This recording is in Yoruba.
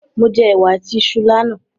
Mo jẹ ẹ̀wà àti iṣu lánà